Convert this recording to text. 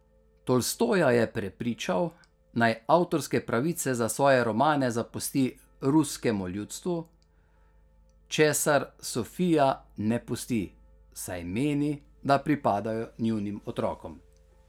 Tolstoja je prepričal, naj avtorske pravice za svoje romane zapusti ruskemu ljudstvu, česar Sofija ne pusti, saj meni, da pripadajo njunim otrokom.